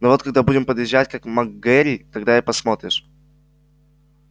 ну вот когда будем подъезжать к мак гэрри тогда и посмотришь